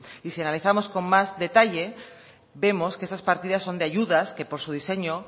y si analizamos con más detalle vemos que esas partidas son de ayudas que por su diseño